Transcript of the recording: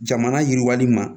Jamana yiriwali ma